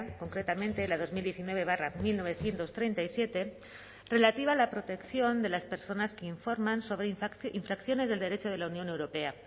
concretamente la dos mil diecinueve barra mil novecientos treinta y siete relativa a la protección de las personas que informan sobre infracciones del derecho de la unión europea